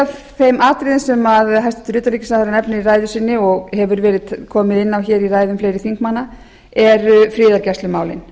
af þeim atriðum sem hæstvirtur utanríkisráðherra nefnir í ræðu sinni og hefur verið komið inn á hér í ræðum fleiri þingmanna eru friðargæslumálin